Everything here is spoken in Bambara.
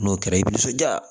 N'o kɛra i bi nisɔndiya